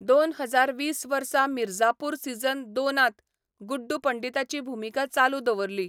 दोन हजार वीस वर्सा मिर्जापूर सीझन दोन त गुड्डू पंडिताची भुमिका चालू दवरली.